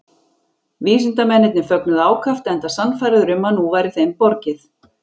Vísindamennirnir fögnuðu ákaft enda sannfærðir um að nú væri þeim borgið.